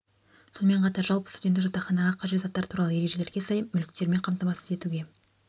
сонымен қатар жалпы студенттік жатақханаға қажет заттар туралы ережелерге сай мүліктермен қамтамасыз етуге